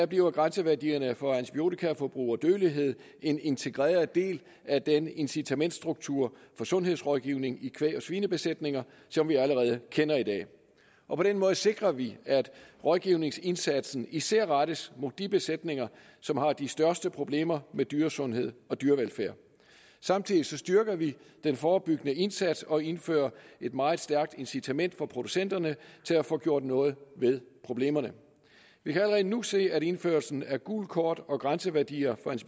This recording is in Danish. bliver grænseværdierne for antibiotikaforbrug og dødelighed en integreret del af den incitamentsstruktur for sundhedsrådgivning i kvæg og svinebesætninger som vi allerede kender i dag og på den måde sikrer vi at rådgivningsindsatsen især rettes mod de besætninger som har de største problemer med dyresundhed og dyrevelfærd samtidig styrker vi den forebyggende indsats og indfører et meget stærkt incitament for producenterne til at få gjort noget ved problemerne vi kan allerede nu se at indførelsen af gult kort og grænseværdier